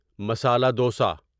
masala dosa